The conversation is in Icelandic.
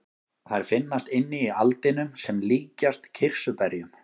Þær finnast inni í aldinum sem líkjast kirsuberjum.